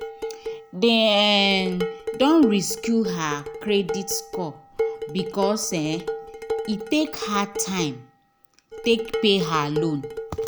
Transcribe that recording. they um don resuce her credit score because um he take her time take pay her loan